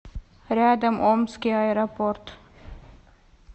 рядом омский аэропорт